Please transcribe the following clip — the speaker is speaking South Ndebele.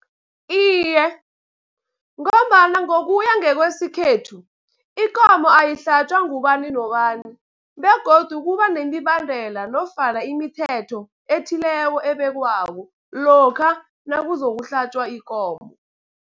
Iye, ngombana ngokuya ngekwesikhethu ikomo ayihlatjwa ngubani nobani, begodu kuba nemibandela nofana imithetho ethileko ebekwako lokha nakuzokuhlatjwa ikomo.